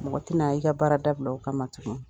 Mɔgɔ ti na i ka baara da bila o kama tugun.